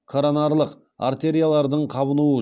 коронарлық артериялардың қабынуы